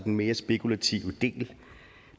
en mere spekulativ del